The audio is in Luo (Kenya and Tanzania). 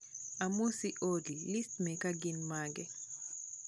Amosi Ollyliszi meka gin mage